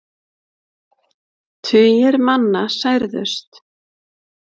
Tugir manna særðust.